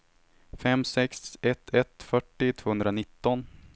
fem sex ett ett fyrtio tvåhundranitton